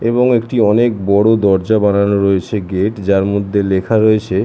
এবং একটি অনেক বড় দরজা বানানো রয়েছে গেট যার মধ্যে লেখা রয়েছে--